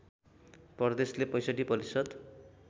प्रदेशले ६५ प्रतिशत